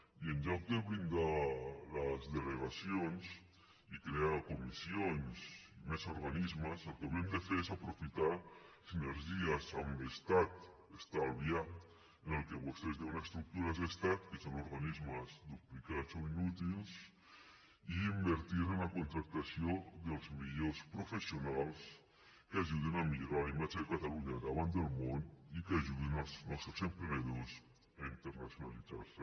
i en lloc de blindar les delegacions i crear comissions i més organismes el que hauríem de fer és aprofitar sinergies amb l’estat estalviar en el que vostès en diuen estructures d’estat que són organismes duplicats o inútils i invertir en la contractació dels millors professionals que ajudin a millorar la imatge de catalunya davant del món i que ajudin els nostres emprenedors a internacionalitzar se